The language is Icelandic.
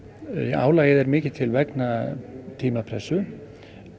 álagið er mikið til vegna tímapressu